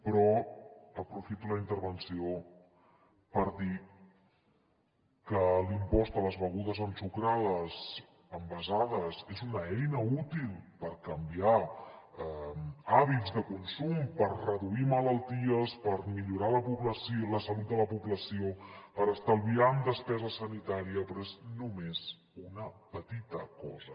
però aprofito la intervenció per dir que l’impost de les begudes ensucrades envasades és una eina útil per canviar hàbits de consum per reduir malalties per millorar la salut de la població per estalviar en despesa sanitària però és només una petita cosa